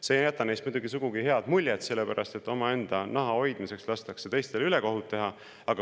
See ei jäta neist muidugi sugugi head muljet, sest omaenda naha hoidmiseks lastakse teistele ülekohut teha.